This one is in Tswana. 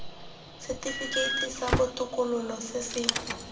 setifikeiti sa botokololo se se